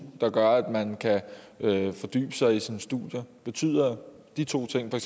der gør at man kan fordybe sig i sine studier betyder de to ting for